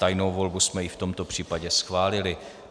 Tajnou volbu jsme i v tomto případě schválili.